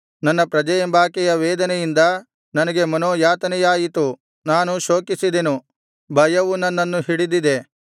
ನನ್ನ ಪ್ರಜೆಯೆಂಬಾಕೆಯ ವೇದನೆಯಿಂದ ನನಗೆ ಮನೋಯಾತನೆಯಾಯಿತು ನಾನು ಶೋಕಿಸಿದೆನು ಭಯವು ನನ್ನನ್ನು ಹಿಡಿದಿದೆ